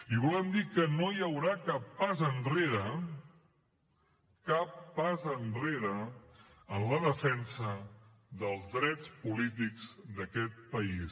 i volem dir que no hi haurà cap pas enrere cap pas enrere en la defensa dels drets polítics d’aquest país